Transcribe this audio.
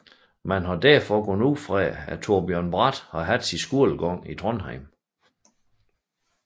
Man har derfor gået ud fra at Torbjørn Bratt har haft sin skolegang i Trondheim